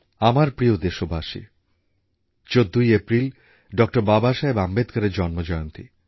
আমার প্রিয় দেশবাসী ১৪ই এপ্রিল ডক্টর বাবাসাহেব আম্বেদকরের জন্মজয়ন্তী